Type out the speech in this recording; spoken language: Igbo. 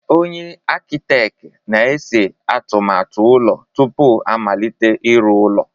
Onye Akịteet na-ese atụmatụ ụlọ tupu a amalite ịrụ ụlọ.